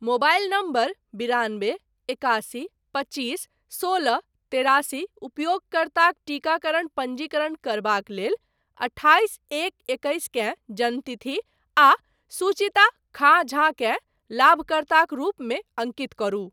Mobile number बिरानबे एकासी पच्चीस सोलह तेरासी उपयोगकर्ताक टीकाकरण पञ्जीकरण करबाक लेल अठाइस एक एकैस केँ जन्मतिथि आ सुचिता खाँ झा केँ लाभकर्ताक रूपमे अङ्कित करू।